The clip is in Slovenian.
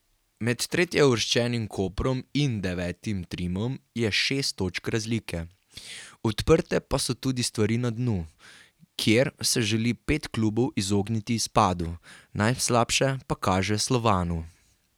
Med tretjeuvrščenim Koprom in devetim Trimom je šest točk razlike, odprte pa so tudi stvari na dnu, kjer se želi pet klubov izogniti izpadu, najslabše pa kaže Slovanu.